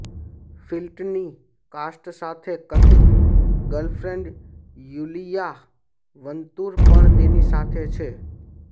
ફિલ્ટની cast સાથે કથિત girlfriend Iulia Vantur પણ તેની સાથે છે